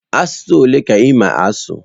Asụsụ ole ka ịma asụ?